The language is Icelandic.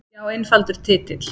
Já einfaldur titill.